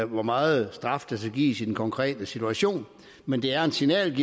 hvor meget straf der skal gives i den konkrete situation men det er en signal